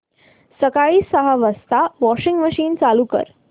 सकाळी सहा वाजता वॉशिंग मशीन चालू कर